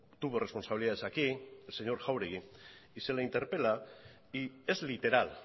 tuvo responsabilidades aquí señor jáuregui y se le interpela y es literal